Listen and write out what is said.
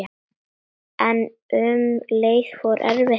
En um leið erfitt líka.